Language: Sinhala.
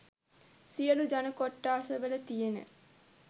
සියලු ජන කොට්ටාස වල තියෙන